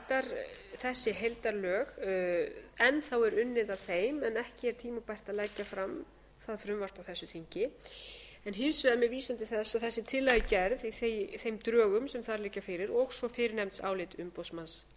enn þá er unnið að þeim en ekki er tímabært að leggja fram það frumvarp á þessu þingi en hins vegar með vísan til þess og þessi tillögugerð í þeim drögum sem þar liggja fyrir og svo fyrrnefnd álit umboðsmanns